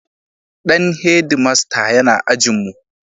Dan Head master yana ajin mu